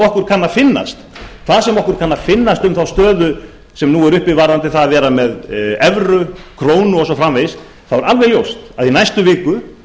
okkur kann að finnast sem þá stöðu sem nú er uppi varðandi það að vera með evru krónu og svo framvegis þá er alveg ljóst að í næstu viku